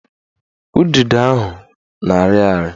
Udido ahụ na-arị ari